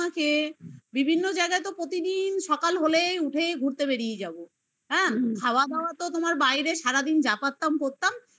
তোমাকে বিভিন্ন বিভিন্ন জায়গায় তো প্রতিদিন সকাল হলেই উঠে ঘুরতে বেরিয়ে যাবো হ্যাঁ খাওয়া দাওয়া তো তোমার বাইরে সারাদিন যা পারতাম করতাম